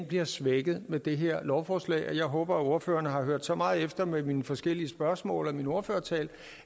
bliver svækket med det her lovforslag jeg håber at ordføreren har hørt så meget efter mine forskellige spørgsmål og min ordførertale